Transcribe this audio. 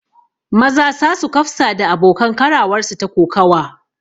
Maza sa su kafsa da abokan karawarsu ta kokawa